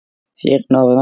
Fyrir norðan.